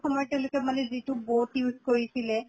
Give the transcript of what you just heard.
সময়ত তেওঁলোকে মানে যিটো boat use কৰিছিলে